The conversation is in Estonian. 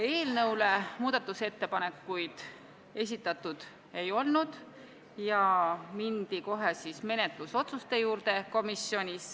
Eelnõu kohta muudatusettepanekuid esitatud ei olnud ja mindi kohe menetlusotsuste juurde.